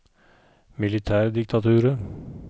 militærdiktaturet